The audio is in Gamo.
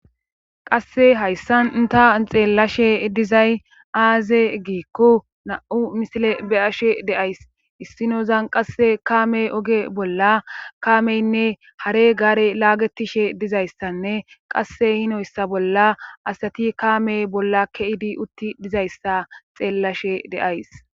Qasse hayssan ta xeellashe dizay aaze giikko na7u misile beyashe deays issinozan qasse kaame oge bolla kaameynne hare gaare laagetishe dizayssanne qasse hinoyssa bolla asati kaame bolla keidi utti dizayssa xeellashe deays